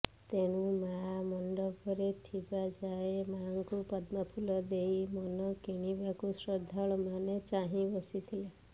ତେଣୁ ମା ମଣ୍ଡପରେ ଥିବା ଯାଏ ମାଙ୍କୁ ପଦ୍ମଫୁଲ ଦେଇ ମନ କିଶିବାକୁ ଶ୍ରଦ୍ଧାଳୁ ମାନେ ଚାହିଁ ବସିଥିଲେ